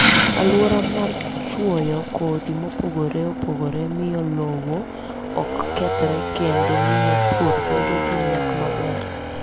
Alwora mar chwoyo kodhi mopogore opogore miyo lowo ok kethre kendo miyo pur bedo gi nyak maber.